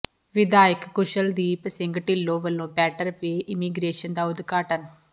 ਵਿਧਾਇਕ ਕੁਸ਼ਲਦੀਪ ਸਿੰਘ ਢਿੱਲੋਂ ਵੱਲੋਂ better way immigration ਦਾ ਉਦਘਾਟਨ